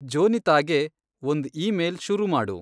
ಜೋನಿತಾಗೆ ಒಂದ್‌ ಈಮೇಲ್‌ ಶುರು ಮಾಡು